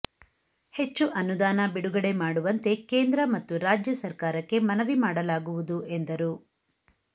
ಹೆಚ್ಚು ಅನುದಾನ ಬಿಡುಗಡೆ ಮಾಡುವಂತೆ ಕೇಂದ್ರ ಮತ್ತು ರಾಜ್ಯ ಸರ್ಕಾರಕ್ಕೆ ಮನವಿ ಮಾಡಲಾಗುವುದು ಎಂದರು